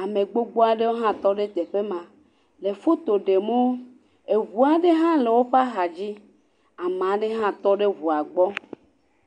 Ame gbogbo aɖewo hã tɔ ɖe teƒe ma le foto ɖemwo. Eŋu aɖe hã tɔ ɖe woƒe axadzi. Ama ɖe hã tɔ ɖe ŋua gbɔ.